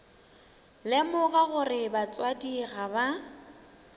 lemoga gore batswadi ga ba